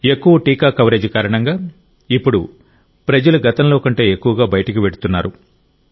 ఎక్కువ టీకా కవరేజ్ కారణంగా ఇప్పుడు ప్రజలు గతంలో కంటే ఎక్కువగా బయటకు వెళ్తున్నారు